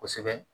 Kosɛbɛ